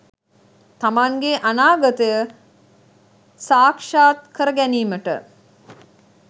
තමන්ගේ අනාගතය සාක්ෂාත් කර ගැනීමට